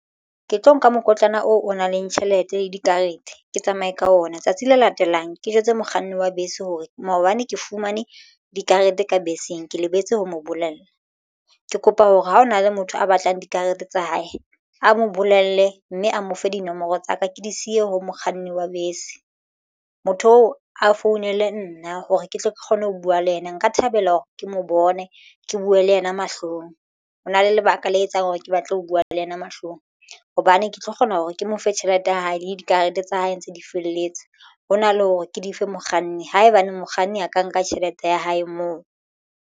Ke tlo nka mokotlana oo o nang le tjhelete le dikarete. Ke tsamaye ka ona tsatsi le latelang ke jwetsa mokganni wa bese hore maobane ke fumane dikarete ka beseng. Ke lebetse ho mo bolella ke kopa hore ha ho na le motho a batlang dikarete tsa hae a mo bolelle mme a mo fe dinomoro tsa ka ke di siye ho mokganni wa bese. Motho oo a founele nna hore ketle ke kgone ho buwa le yena nka thabela hore ke mo bone ke buwe le yena mahlong. Ho na le lebaka le etsang hore ke batle ho buwa le yena mahlong hobane ke tlo kgona hore ke mo fe tjhelete ya hae le dikarete tsa hae ntse di felletse hona le hore ke dife mokganni haebaneng mokganni a ka nka tjhelete ya hae moo.